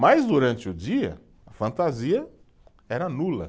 Mas durante o dia, a fantasia era nula.